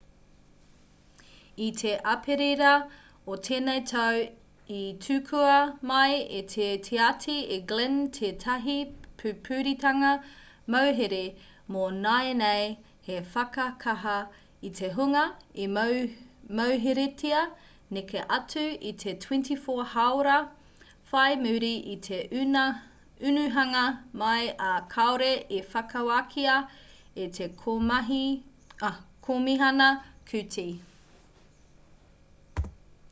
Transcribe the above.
i te aperira o tēnei tau i tukua mai e te tiati e glynn tētahi pupuritanga mauhere mō nāianei hei whakakaha i te hunga i mauheretia neke atu i te 24 haora whai muri i te unuhanga mai ā kāore i whakawākia e te komihana kooti